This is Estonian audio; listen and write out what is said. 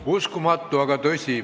Uskumatu, aga tõsi.